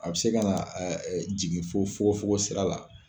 A bɛ se ka na jigin fo fo fo sira la.